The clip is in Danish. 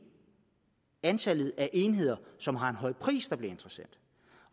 antallet af enheder som har en høj pris der bliver interessant